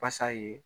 Basa ye